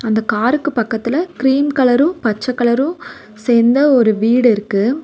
அந்த காருக்கு பக்கத்துல க்ரீம் கலரு பச்ச கலரு சேந்த ஒரு வீடிருக்கு.